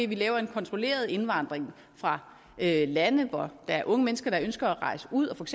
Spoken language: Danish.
vi laver en kontrolleret indvandring fra lande hvor der er unge mennesker der ønsker at rejse ud og